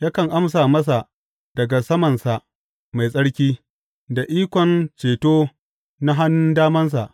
Yakan amsa masa daga samansa mai tsarki da ikon ceto na hannun damansa.